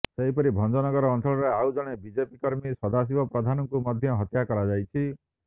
ସେହିପରି ଭଞ୍ଜନଗର ଅଞ୍ଚଳରେ ଆଉ ଜଣେ ବିଜେପି କର୍ମୀ ସଦାଶିବ ପ୍ରଧାନଙ୍କୁ ମଧ୍ୟ ହତ୍ୟା କରାଯାଇଛି